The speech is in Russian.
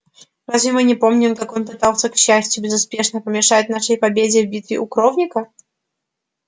разве мы не помним как он пытался к счастью безуспешно помешать нашей победе в битве у коровника